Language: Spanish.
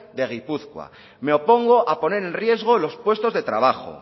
de gipuzkoa me opongo a poner en riesgo los puestos de trabajo